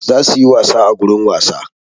Za su yi wasa a gurin wasa.